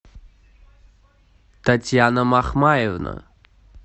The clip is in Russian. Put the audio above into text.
татьяна махмаевна